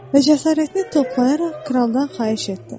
Və cəsarətini toplayaraq kraldan xahiş etdi: